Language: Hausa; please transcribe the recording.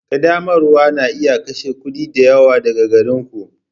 Ƙaddamarwa na iya kashe kuɗi da yawa daga gare ku.